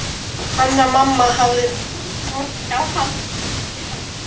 Hanna-Mamma hafði borgað hann út í hönd.